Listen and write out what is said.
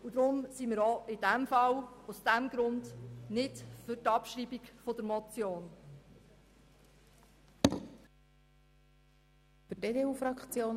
Auch aus diesem Grund sind wir nicht für die Abschreibung der Motion.